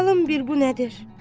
Bakalım bir bu nədir?